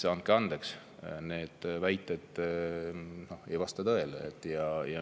Andke andeks, need väited ei vasta tõele!